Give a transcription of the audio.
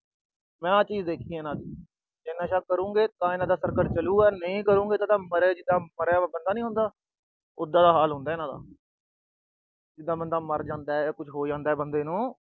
ਮੈਂ ਆਹ ਚੀਜ ਦੇਖੀ ਆ। ਜੇ ਇਹ ਨਸ਼ਾ ਕਰੂਗੇ, ਤਾਂ ਇਹਨਾਂ ਦਾ circle ਚਲੂਗਾ। ਜੇ ਨਹੀਂ ਕਰੂਗੇ, ਤਾਂ ਜਿਦਾਂ ਮਰਿਆ ਹੋਇਆ ਬੰਦੀ ਨੀ ਹੁੰਦਾ, ਉਦਾ ਦਾ ਹਾਲ ਹੁੰਦਾ ਇਹਨਾਂ ਦਾ। ਜਿਦਾਂ ਬੰਦਾ ਮਰ ਜਾਂਦਾ ਜਾਂ ਕੁਛ ਹੋ ਜਾਂਦਾ ਬੰਦੇ ਨੂੰ।